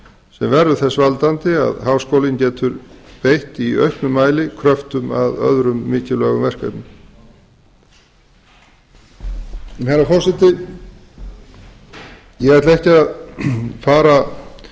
sem verður þess valdandi að háskólinn getur beitt í auknum mæli kröftum að öðrum mikilvægum verkefnum herra forseti ég ætla ekki að fara